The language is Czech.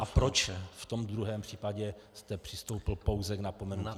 A proč v tom druhém případě jste přistoupil pouze k napomenutí.